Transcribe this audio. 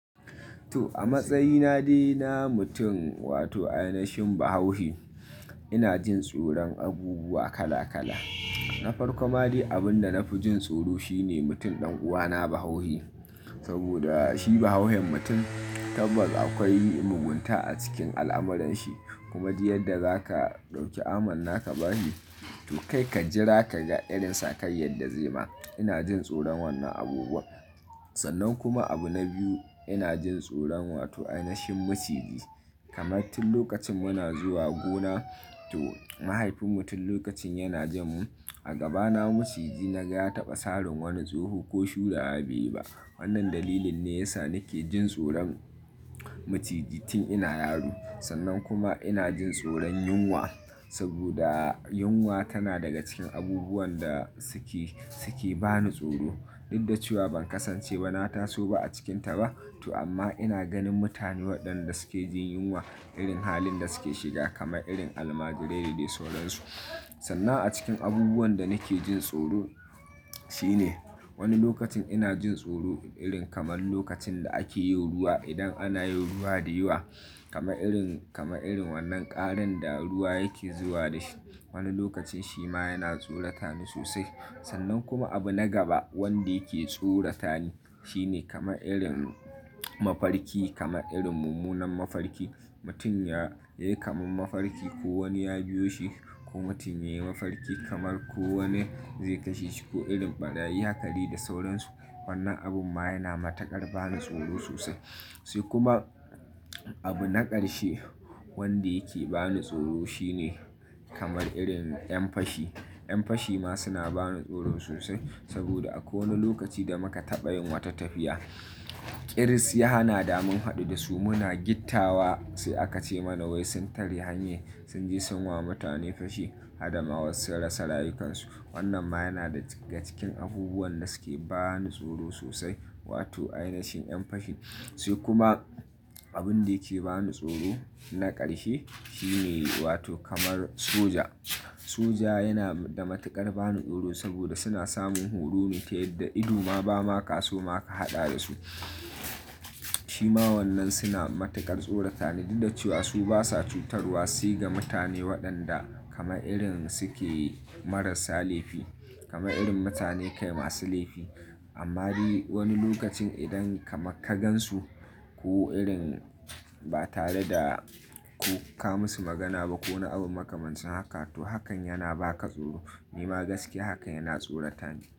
To a matsayina de na mutum wato ainashin bahaushe ina jin tsoron abubuwa kala kala. Na farko ma dai abin da na fi jin tsoro shi ne mutum ɗan uwana bahauhe. Saboda shi bahauhen mutum tabbas akwai mugunta a cikin al'amuranshi. Kuma du yadda zaka ɗauki amanna ka ba hi. To kai ka jira kaga irin sakayyar da zai ma. Ina jin tsoron wannan abubuwa. Sannan kuma abu na biyu ina jin tsoron wato ainashin maciji. Kamar tin lokacin muna zuwa gona to mahaifin mu tun lokacin yana jan mu a gabana maciji na ga ya taɓa sarin wani tsoho ko shurawa beyi ba. Wannan dalilin ne yasa nake jin tsoron maciji tin ina yaro. Sannan kuma ina jin tsoron yunwa saboda yunwa tana daga cikin abubuwan da suke, suke ba ni tsoro. Dud da cewa ban kasance ba na taso ba a cikinta ba. To amma ina ganin mutane waɗanda suke jin yunwa irin halin da suke shiga kama irin almajirai da dai sauran su. Sannan a cikin abubuwan da nake jin tsoro shi ne wani lokacin ina jin tsoro irin kamar lokacin da ake yin ruwa. Idan ana yin ruwa da yawa kama irin, kama irin wannan ƙaran da ruwa yake zuwa da shi. Wani lokacin shi ma yana tsorata ni sosai. Sannan kuma abu na gaba wanda yake tsorata ni shi ne kamar irin mafarki kama irin mummunan mafarki. Mutum ya, ya yi kamar mafarki ko wani ya biyo shi ko mutum ya yi mafarki kamar ko wanne zai kashe shi ko irin ɓarayi haka dai da sauran su. Wannan abun ma yana matuƙar ba ni tsoro sosai. Sai kuma abu na ƙarshe wanda yake ba ni tsoro shi ne kamar irin 'yan fashi. 'Yan fashi ma suna ba ni tsoro sosai saboda a kwai wani lokaci da muka taɓa yin wata tafiya, ƙiris ya hana da mun haɗu da su muna gitta wa sai aka ce mana wai sun tare hanyar sun je sun wa mutane fashi hadama wasu sun rasa rayukansu. Wannan ma yana daga cikin abubuwan da suke ba ni tsoro sosai wato a inashin 'yan fashi. Sai kuma abin da yake ba ni tsoro na ƙarshe shi ne wato kamar soja. Soja yana da matuƙar ba ni tsoro saboda suna samun horo ne ta yadda ido ma ba ma ka so ma ka haɗa da su. Shi ma wannan suna matuƙar tsorata ni duda cewa su basa cutarwa sai ga mutane waɗanda kamar irin suke marasa laifi. Kama irin mutane kai masu laifi. Amma de wani lokacin idan kamar ka gansu ko irin ba tare da ko ka musu magana ba ko wani abun makamancin haka to hakan yana ba ka tsoro. Ni ma gaskiya hakan yana tsorata ni.